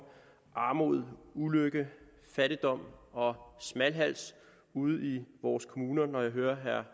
armod ulykke fattigdom og smalhals ude i vores kommuner når jeg hører herre